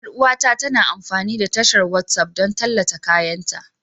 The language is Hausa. Yar uwata tana amfani da tashar WhatsApp don tallata kayanta